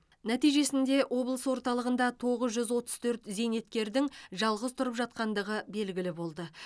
нәтижесінде облыс орталығында тоғыз жүз отыз төрт зейнеткердің жалғыз тұрып жатқандығы белгілі болды